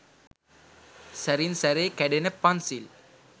සැරින් සැරේ කැඩෙන පන්සිල්